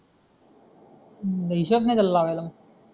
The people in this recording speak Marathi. मग हिशोब नाही त्याला लावायला